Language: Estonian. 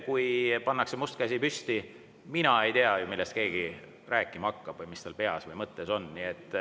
Kui pannakse must käsi püsti, siis mina ju ei tea, millest keegi rääkima hakkab või mis tal peas või mõttes on.